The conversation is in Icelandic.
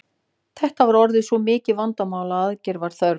Þetta var orðið svo mikið vandamál að aðgerða var þörf.